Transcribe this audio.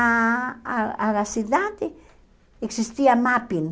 a a a cidade existia mapping.